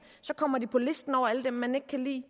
kommer de på listen over alle dem man ikke kan lide